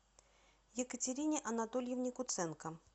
екатерине анатольевне куценко